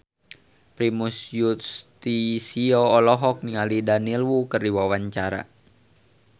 Primus Yustisio olohok ningali Daniel Wu keur diwawancara